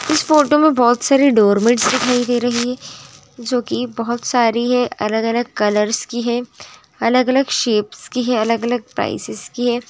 इस फोटो में बहोत सारे डोरमैट्स दिखाई दे रहे हैं जो कि बहोत सारी है अलग-अलग कलर्स की है अलग-अलग शेप्स की है अलग-अलग प्राइसेस की है।